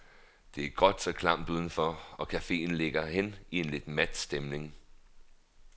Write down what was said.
Det er gråt og klamt uden for, og caféen ligger hen i en lidt mat stemning.